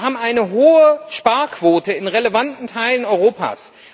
Wir haben eine hohe Sparquote in relevanten Teilen Europas.